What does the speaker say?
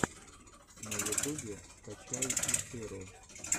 на ютубе скачай иширо